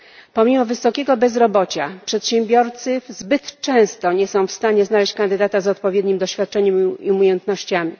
Pomimo wysokiego bezrobocia przedsiębiorcy zbyt często nie są w stanie znaleźć kandydata z odpowiednim doświadczeniem i umiejętnościami.